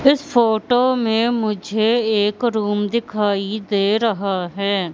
इस फोटो में मुझे एक रूम दिखाई दे रहा हैं।